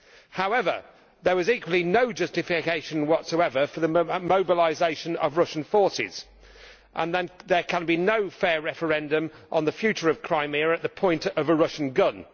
However, there was equally no justification whatsoever for the mobilisation of Russian forces, and there can be no fair referendum on the future of Crimea at the point of a Russian gun.